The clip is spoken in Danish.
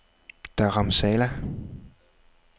Dharamsala